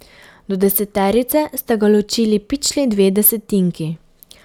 Do deseterice sta ga ločili pičli dve desetinki.